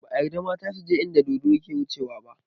Ba a yarda mata suje inda dodo yake wucewa ba